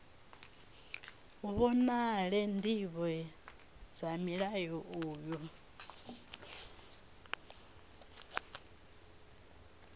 vhonale ndivho dza mulayo uyu